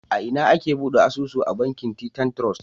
A ina ake bude asusu a bankin Titan Trust?